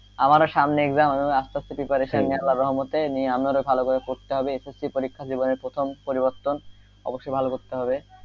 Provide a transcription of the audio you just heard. আমারও সামনে exam আস্তে আস্তে preparation নিয়া আল্লাহ রহমতে নিয়া আমি ভালো ভাবে পড়তে হবে SSC পরীক্ষা জীবনে প্রথম পরিবর্তন অবশ্য ভালো করতে হবে,